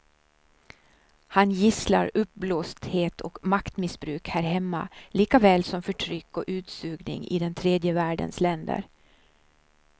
Han gisslar uppblåsthet och maktmissbruk här hemma likaväl som förtryck och utsugning i den tredje världens länder.